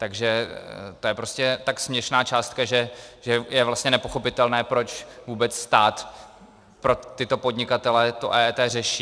Takže to je prostě tak směšná částka, že je vlastně nepochopitelné, proč vůbec stát pro tyto podnikatele to EET řeší.